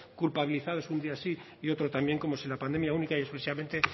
culpabilizados un día sí y otro también como si la pandemia única y exclusivamente